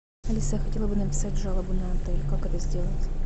алиса я хотела бы написать жалобу на отель как это сделать